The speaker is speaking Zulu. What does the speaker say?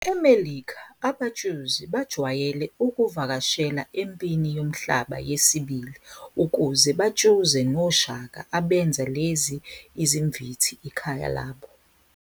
EMelikha, abatshuzi bajwayele ukuvakashela eMpini Yomhlaba yesibili ukuze batshuze noshaka abenza lezi izimvithi ikhaya labo.